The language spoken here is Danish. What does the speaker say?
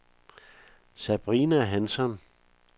Sabrina Hansson